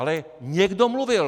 Ale někdo mluvil.